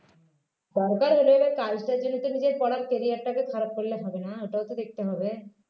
দরকার হলেও এবার কাজটার জন্য নিজের পড়ার carrier টাকে খারাপ করলে হবে না ওটাও তো দেখতে হবে